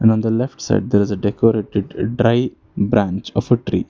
And on the left side there is a decorated dry branch of a tree.